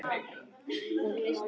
Af hverju ertu svona þrjóskur, Lárus?